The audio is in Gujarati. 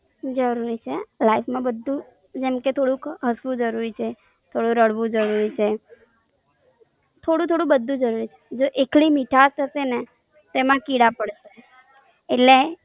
જરૂરી છે, Life માં બધું, જેમ કે થોડું હસવું જરૂરીછે, થોડું રડવું જરૂરી છ્ર, જો એકલી મીઠાસ હશેને, તો એમાં કીડા પડશે. એટલે